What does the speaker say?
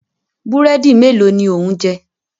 Búrẹ́dì mélòó ni ò ń jẹ?